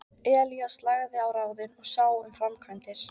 Elías lagði á ráðin og sá um framkvæmdir.